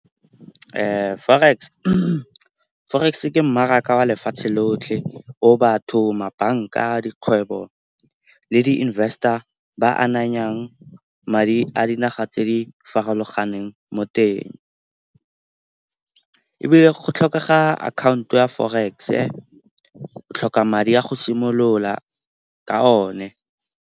Forex ke mmaraka wa lefatshe lotlhe o batho, mabanka, dikgwebo le di-invester ba ananyang madi a dinaga tse di farologaneng mo teng. Ebile go tlhokega akhaonto ya forex-e, o tlhoka madi a go simolola ka o ne.